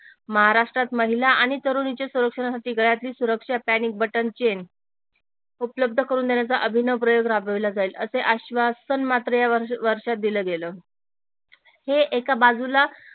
महाराष्ट्रात महिला आणि तरुणीच्या संरक्षणासाठी गळ्यातली सुरक्षा पॅनिक बटन चैन उपलब्ध करून देण्याचा अभिनव प्रयोग राबविला जाईल असे आश्वासन मात्र या वर्षात दिल गेल हे एका बाजूला